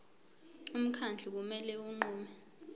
umkhandlu kumele unqume